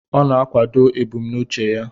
Ọ na-akwado ebumnuche ya.